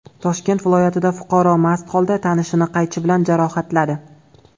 Toshkent viloyatida fuqaro mast holda tanishini qaychi bilan jarohatladi.